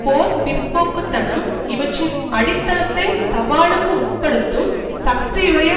போர் பிற்போக்கு தனம் இவற்றின் அடித்தளத்தை சவாலுக்கு உட்படுத்தும் சக்தியுடைய